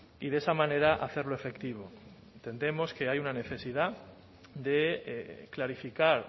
y de esa manera hacerlo efectivo entendemos que hay una necesidad de clarificar